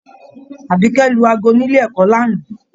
Abikẹ̀ lù aago nílé ẹ̀kọ́ l'ana.